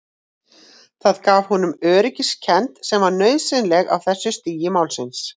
Það gaf honum öryggiskend sem var nauðsynleg á þessu stigi málsins.